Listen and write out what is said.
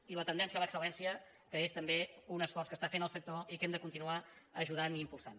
i la tendència a l’excel·lència que és també un esforç que està fent el sector i que hem de continuar ajudant i impulsant